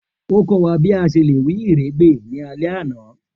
O kọ wa bi a ṣe le iwiregbe ni alẹ ana.